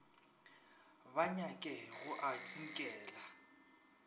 ba nyake go a tsinkela